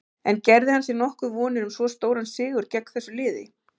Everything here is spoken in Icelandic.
En gerði hann sér nokkuð vonir um svo stóran sigur gegn þessu liði?